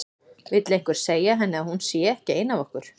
Vill einhver segja henni að hún sé ekki ein af okkur.